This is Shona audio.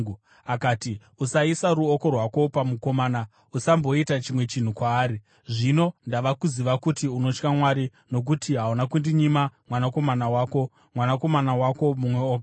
Akati, “Usaisa ruoko rwako pamukomana. Usamboita chimwe chinhu kwaari. Zvino ndava kuziva kuti unotya Mwari, nokuti hauna kundinyima mwanakomana wako, mwanakomana wako mumwe woga.”